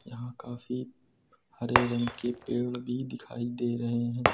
यहां काफी हरे रंग के पेड़ भी दिखाई दे रहे हैं।